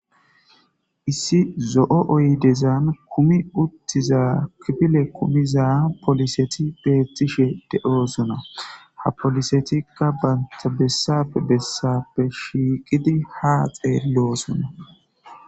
issi zo7o oydezan kumi uttiza kipile kumiza poliseti beetishe de7oosona ha polisetikka bantabessape bessappe shiiqidi haa xello oso a little